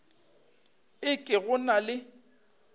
e ke go na le